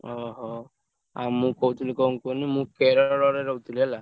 ଓହୋ! ଆଉ ମୁଁ କହୁଥିଲି କଣ କୁହନି ମୁଁ କେରଳରେ ରହୁଥିଲି ହେଲା।